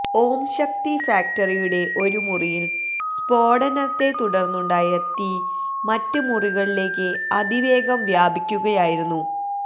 ഓംശക്തി ഫാക്ടറിയുടെ ഒരു മുറിയില് സ്ഫോടനത്തെത്തുടര്ന്നുണ്ടായ തീ മറ്റ് മുറികളിലേക്ക് അതിവേഗം വ്യാപിക്കുകയായിരുന്നു